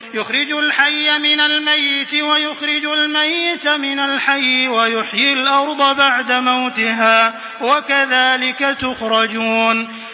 يُخْرِجُ الْحَيَّ مِنَ الْمَيِّتِ وَيُخْرِجُ الْمَيِّتَ مِنَ الْحَيِّ وَيُحْيِي الْأَرْضَ بَعْدَ مَوْتِهَا ۚ وَكَذَٰلِكَ تُخْرَجُونَ